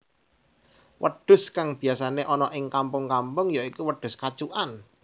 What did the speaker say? Wedhus kang biyasané ana ing kampung kampung ya iku wedhus kacukan